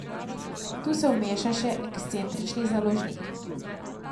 Tu se vmeša še ekscentrični založnik ...